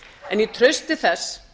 en í trausti þess